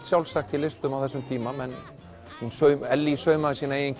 sjálfsagt í listum á þessum tíma Ellý saumaði sína eigin